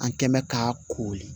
An kɛnbɛ ka kori